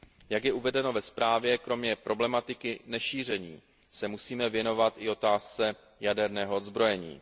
Jak je uvedeno ve zprávě, kromě problematiky nešíření se musíme věnovat i otázce jaderného odzbrojení.